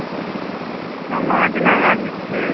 ஆமா அது நல்ல இருந்துச்சு.